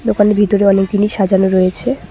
দোকানের ভিতরে অনেক জিনিস সাজানো রয়েছে।